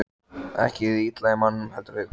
Ekki hið illa í manninum, heldur hið góða.